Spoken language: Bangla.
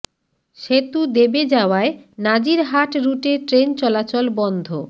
সেতু দেবে যাওয়ায় নাজির হাট রুটে ট্রেন চলাচল বন্ধ